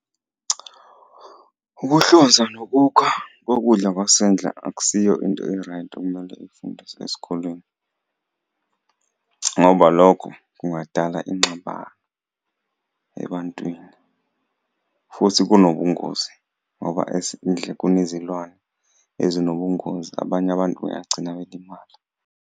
Ukuhlonza nokukha kokudla kwasendle akusiyo into e-right okumele ifundiswe esikolweni ngoba lokho kungadala ingxabano ebantwini futhi kunobungozi, ngoba ezindle kunezilwane ezinobungozi abanye abantu begcina belimala.